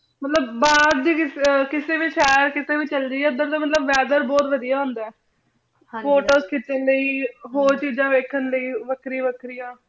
ਮਤਲਬ ਬਹਿਰ ਦੀ ਕਿਸੇ ਵੀ ਸੀੜੇ ਕਿਸੇ ਵੀ ਸ਼ੇਹਰ ਚਲੇ ਜਿਯੇ ਮਤਲਬ ਓਧਰ weather ਬੋਹਤ ਵਾਦਿਯ ਹੁੰਦਾ ਆਯ ਹਾਂਜੀ photos ਖੇਚਨ ਲੈ ਹੋਰ ਚੀਜ਼ਾਂ ਵੇਖਣ ਲੈ ਵਖਰੀ ਵਾਖ੍ਰਿਯਾਂ